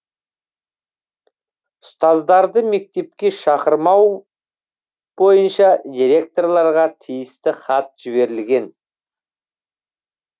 ұстаздарды мектепке шақырмау бойынша директорларға тиісті хат жіберілген